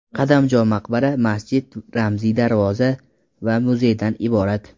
Qadamjo maqbara, masjid, ramziy darvoza va muzeydan iborat.